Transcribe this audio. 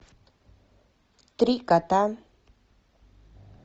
три кота